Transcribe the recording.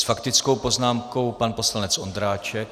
S faktickou poznámkou pan poslanec Ondráček.